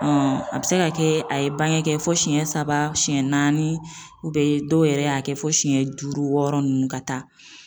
a be se ka kɛ a ye bange kɛ fɔ siɲɛ saba siyɛn naani ubiyɛn dɔw yɛrɛ y'a kɛ fo siyɛn duuru wɔɔrɔ nunnu ka taa